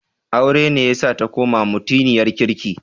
Aure ne yasa ta koma mutiniyar kirki.